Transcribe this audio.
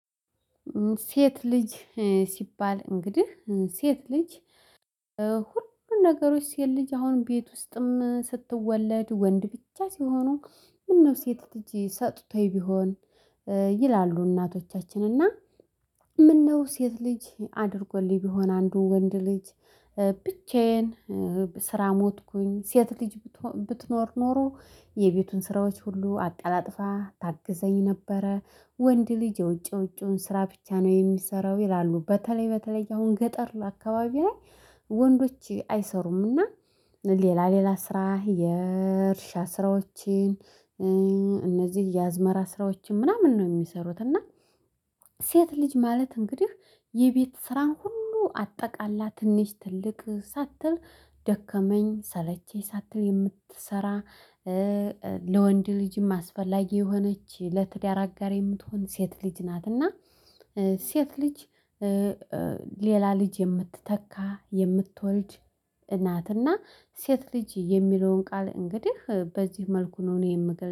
ሴት ልጅ። ሲባል እንግዲህ ሴት ልጅ። ሁሉም ነገሮች ሴት ልጅ አሁን ቤት ውስጥም ስትወለድ ወንድ ብቻ ሲሆኑ። ምነው ሴት ልጅ ሰጥቶኝ ቢሆን። ይላሉ እናቶቻችን እና። ምነው ሴት ልጅ አድርጎልኝ ቢሆን አንዱ ወንድ ልጅ። ብቻዬን ስራ ሞትኩኝ ሴት ልጅ ብትኖር ኖሮ የቤቱን ስራዎች ሁሉ አቀላጥፋ ታግዘኝ ነበረ። ወንድ ልጅ የውጭ ውጩን ስራ ብቻ ነው የሚሰራው ይላሉ በተለይ በተለይ አሁን ገጠር ለአካባቢዬ ላይ። ወንዶች አይሰሩምና ሌላ ሌላ ስራ የእርሻ ስራዎችን። እነዚህ የአዝመራ ስራዎችን ምናምን ነው የሚሰሩት እና። ሴት ልጅ ማለት እንግዲህ የቤት ስራን ሁሉ አጠቃላ ትንሽ ትልቅ ሳትል ደከመኝ ሰለቼኝ ሳትል የምትሰራ። ለወንድ ልጅም አስፈላጊ የሆነች ለትዳር አጋር የምትሆን ሴት ልጅ ናትና። ሴት ልጅ። ሌላ ልጅ የምትተካ የምትወልድ እናትና። ሴት ልጅ የሚለውን ቃል እንግዲህ በዚህ መልኩ ነው እኔ የምገል